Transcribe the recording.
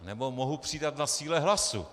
Nebo mohu přidat na síle hlasu.